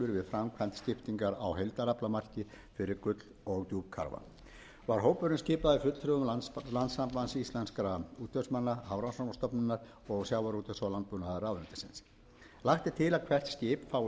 framkvæmd skiptingar á heildaraflamarki fyrir gull og djúpkarfa var hópurinn skipaður fulltrúum landssamband íslenskra útvegsmanna hafrannsóknastofnunar og sjávarútvegs og landbúnaðarráðuneytisins lagt er til að hvert skip fái sömu